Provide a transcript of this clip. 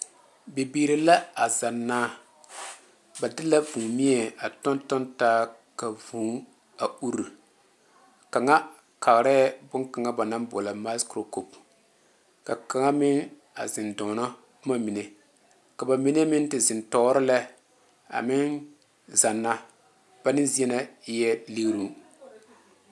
Bibiiri la a zanna ba de la vūū mie a tɔŋtɔŋ taa ka vūū a uri kaŋa kaara bon kaŋa ba naŋ boɔlɔ maakurko ka kaŋa meŋ a zeŋ doɔna boma mine ka ba mine meŋ te zeŋ tɔɔre lɛ a meŋ zanna ba neŋ zie na eɛ liŋre.